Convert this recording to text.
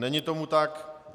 Není tomu tak.